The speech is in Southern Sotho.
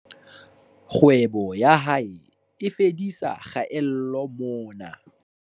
Kgwebo ya hae e fedisa kgaello mona